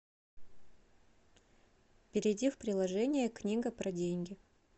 перейди в приложение книга про деньги